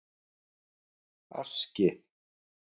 Aski